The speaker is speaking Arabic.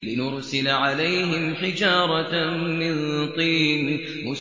لِنُرْسِلَ عَلَيْهِمْ حِجَارَةً مِّن طِينٍ